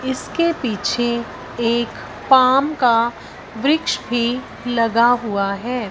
इसके पीछे एक पाम का वृक्ष भी लगा हुआ है।